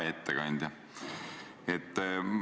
Hea ettekandja!